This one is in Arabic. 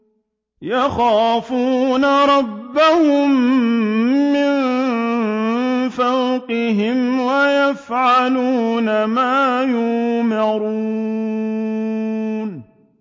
يَخَافُونَ رَبَّهُم مِّن فَوْقِهِمْ وَيَفْعَلُونَ مَا يُؤْمَرُونَ ۩